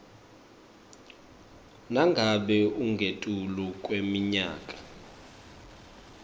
nangabe ungetulu kweminyaka